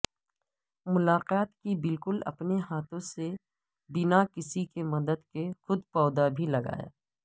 ملاقات کی بلکہ اپنے ہاتھوں سے بنا کسی کی مدد کے خود پودا بھی لگایا